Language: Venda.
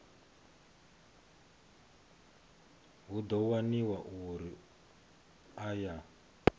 hu ḓo waniwa uri aya